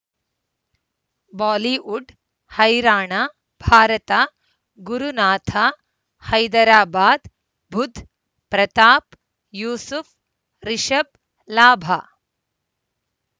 Bollywood ಹೈರಾಣ ಭಾರತ ಗುರುನಾಥ ಹೈದರಾಬಾದ್ ಬುಧ್ ಪ್ರತಾಪ್ ಯೂಸುಫ್ ರಿಷಬ್ ಲಾಭ